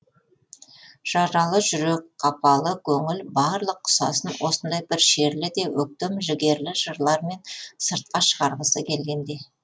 жаралы жүрек қапалы көңіл барлық құсасын осындай бір шерлі де өктем жігерлі жырлармен сыртқа шығарғысы келгендей